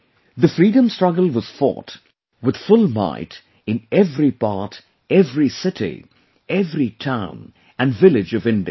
the freedom struggle was fought with full might in every part, every city, every town and village of India